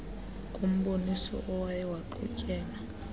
kumboniso owaye waqhutyelwa